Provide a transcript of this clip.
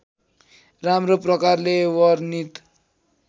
राम्रो प्रकारले वर्णित